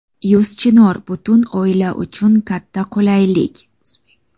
Yuz Chinor — butun oila uchun katta qulaylik!.